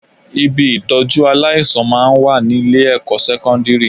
Ibi ìtọ́jú aláìsàn máa ń wà ní ilé-ẹ̀kọ́ sẹ́kọ́ndírì